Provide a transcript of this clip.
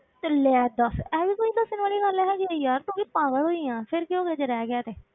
ਤੇ ਲੈ ਦੱਸ ਇਹ ਵੀ ਕੋਈ ਦੱਸਣ ਵਾਲੀ ਗੱਲ ਹੈਗੀ ਹੈ ਯਾਰ, ਤੂੰ ਵੀ ਪਾਗਲ ਹੀ ਆਂ, ਫਿਰ ਕੀ ਹੋ ਗਿਆ ਜੇ ਰਹਿ ਗਿਆ ਤੇ।